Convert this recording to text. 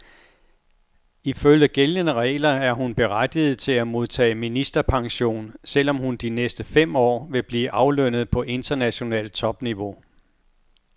Ifølge gældende regler er hun berettiget til at modtage ministerpension, selv om hun de næste fem år vil blive aflønnet på internationalt topniveau.